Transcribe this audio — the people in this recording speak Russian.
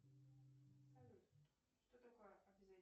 салют что такое